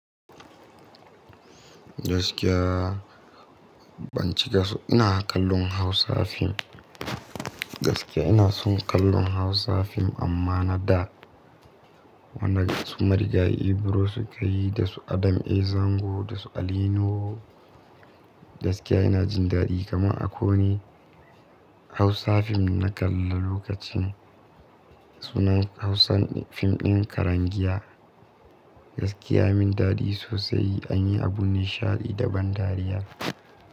Gaskiya ban ci gasho, ina kallon Hausa fim. Gaskiya ina son kallon Hausa fim amma na da. Wannan wasu marigayi Ibro suka yi da su Adam A. Zango da su Alino. Gaskiya ina jin daɗi kamar a ko ne Hausa fim na kalla lokacin. Sunan Hausa fim ɗin Karangiya. Gaskiya min daɗi sosai an yi abu nishaɗi da ban dariya.